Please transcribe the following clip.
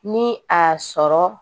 Ni a sɔrɔ